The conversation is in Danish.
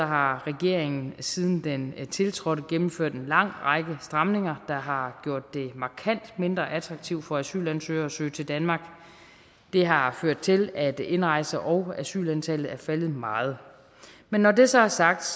har regeringen siden den tiltrådte gennemført en lang række stramninger der har gjort det markant mindre attraktivt for asylansøgere at søge til danmark det har ført til at indrejse og asylantallet er faldet meget men når det så er sagt